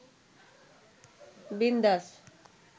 বিন্দাস